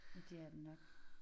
Men det er det nok